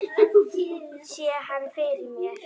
Sé hann fyrir mér.